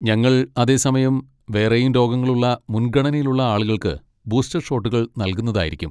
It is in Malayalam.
ഞങ്ങൾ അതേസമയം വേറെയും രോഗങ്ങളുള്ള മുൻഗണനയിലുള്ള ആളുകൾക്ക് ബൂസ്റ്റർ ഷോട്ടുകൾ നൽകുകയായിരിക്കും.